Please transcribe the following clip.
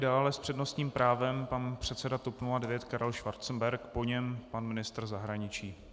Dále s přednostním právem pan předseda TOP 09 Karel Schwarzenberg, po něm pan ministr zahraničí.